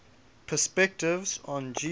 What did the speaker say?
perspectives on jesus